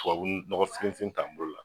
Tubabu nɔgɔfinfin ta n bolo la